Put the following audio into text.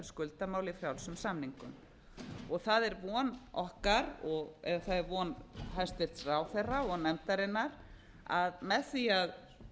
skuldamála í frjálsum samningum það er von hæstvirtur ráðherra og nefndarinnar að með því að